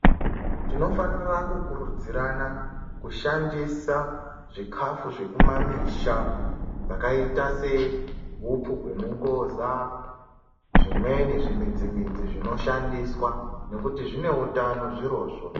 Tinofanira kukurudzirana kushandisa zvikafu zvekumamisha zvakaita sehupfu hwemungoza, zvimweni zvimidzi-midzi zvinoshandiswa ngekuti zvine utano zvirozvo.